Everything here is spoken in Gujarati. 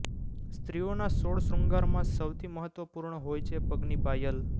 સ્ત્રીઓના સોળ શ્રૃંગારમાં સૌથી મહત્વપૂર્ણ હોય છે પગની પાયલ